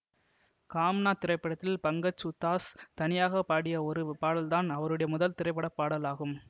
காம்னா திரைப்படத்தில் பங்கஜ் உத்தாஸ் தனியாக பாடிய ஒரு பாடல்தான் அவருடைய முதல் திரைப்படப்பாடல் ஆகும்